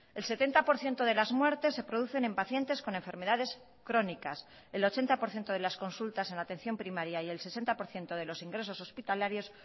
el setenta por ciento de las muertes se producen en pacientes con enfermedades crónicas el ochenta por ciento de las consultas en la atención primaria y el sesenta por ciento de los ingresos hospitalarios